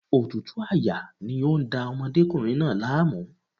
Òtútù àyà ni ó ń da ọmọdékùnrin náà láàmú.